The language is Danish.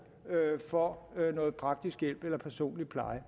for noget praktisk hjælp eller personlig pleje